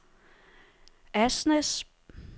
Asnæs